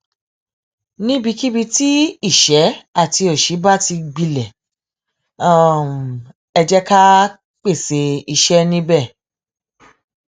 níbikíbi tí ìṣẹ àti òṣì bá ti gbilẹ ẹ jẹ ká pèsè iṣẹ níbẹ